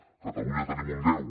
a catalunya tenim un deu